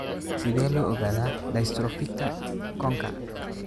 Sidee loo ogaadaa dystrophyka conka?